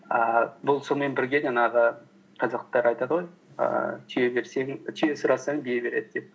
ііі бұл сонымен бірге жаңағы қазақтар айтады ғой ііі түйе сұрасаң бие береді деп